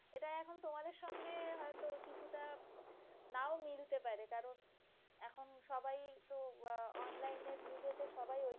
কিছুটা নাও মিলতে পারে কারণ এখন সবাই তো অনলাইনের যুগে সবাই